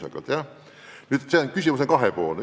Aga see küsimus on kahe otsaga.